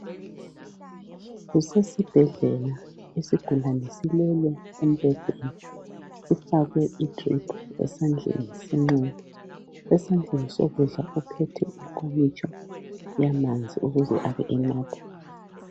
Kusesibhedlela isigulane silele embhedeni sifakwe idrip esandleni senxele. Esandleni sokudla uphethe inkomitsho yamanzi ukuze abe enatha.